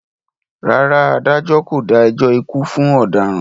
Rárá, adájọ́ kò dá ẹjọ́ ikú fún ọ̀daràn.